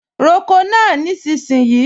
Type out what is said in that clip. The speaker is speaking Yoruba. Roko náà nísinsìnyí!